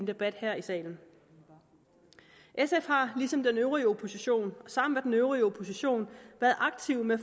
debat her i salen sf har ligesom den øvrige opposition sammen med den øvrige opposition været aktive med